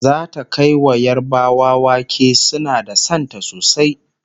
zata Kai wa yarbawa wake suna da Santa sosai